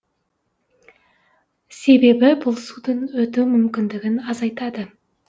себебі бұл судың өту мүмкіндігін азайтады